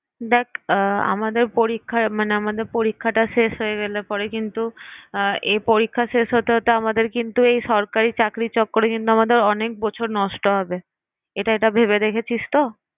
দেখ আহ আমাদের পরীক্ষা মানে আমাদের পরীক্ষাটা শেষ হয়ে গেলে পরে কিন্তু আহ এই পরীক্ষা শেষ হতে হতে আমাদের কিন্তু এই সরকারি চাকরি চক্করে কিন্তু আমাদের অনেক বছর নষ্ট হবে। এটা এটা ভেবে দেখেছিস তো?